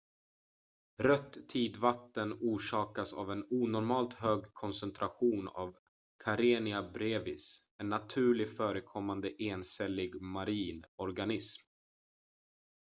rött tidvatten orsakas av en onormalt hög koncentration av karenia brevis en naturligt förekommande encellig marin organism